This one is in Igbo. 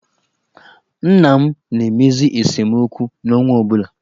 Nna m na-emezi esemokwu n'ọnwa ọ bụla.